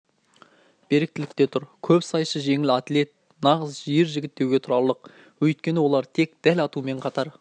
беріктілік те тұр көпсайысшы жеңіл атлет нағыз ержігіт деуге тұрарлық өйткені олар тек дәл атумен қатар